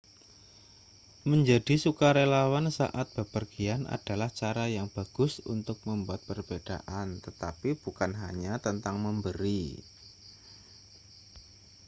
menjadi sukarelawan saat bepergian adalah cara yang bagus untuk membuat perbedaan tetapi bukan hanya tentang memberi